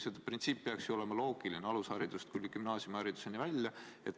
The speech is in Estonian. Printsiip peaks ju olema üks alusharidusest kuni gümnaasiumihariduseni välja.